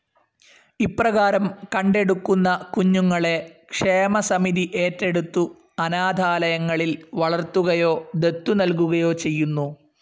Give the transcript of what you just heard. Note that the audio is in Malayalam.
ഇപ്രകാരം കണ്ടെടുക്കുന്ന കുഞ്ഞുങ്ങളെ ക്ഷേമസമിതി ഏറ്റെടുത്തു അനാഥാലയങ്ങളിൽ വളർത്തുകയോ ദത്തു നൽകുകയോ ചെയ്യുന്നു.